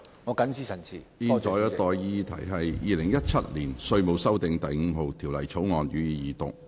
我現在向各位提出的待議議題是：《2017年稅務條例草案》，予以二讀。